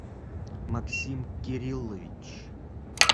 максим кириллович